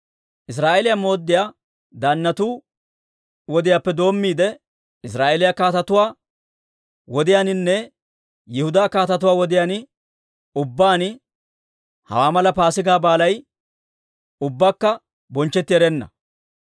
Israa'eeliyaa mooddiyaa daannatu wodiyaappe doommiide, Israa'eeliyaa kaatetuwaa wodiyaaninne Yihudaa kaatetuwaa wodiyaan ubbaan hawaa mala Paasigaa Baalay ubbakka bonchchetti erenna.